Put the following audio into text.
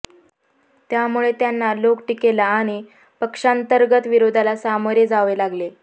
त्यामुळे त्यांना लोक टीकेला आणि पक्षांतर्गत विरोधाला सामोरे जावे लागले